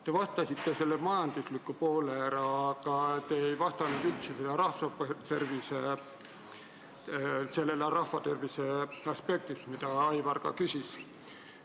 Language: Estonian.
Te vastasite, pidades silmas majanduslikku poolt, aga jätsite tähelepanuta rahva tervise aspekti, mille kohta Aivar küsis.